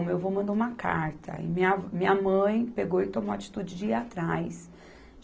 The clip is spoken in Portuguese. O meu avô mandou uma carta e minha vó, minha mãe pegou e tomou a atitude de ir atrás.